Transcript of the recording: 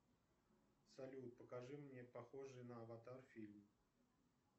салют покажи мне похожий на аватар фильм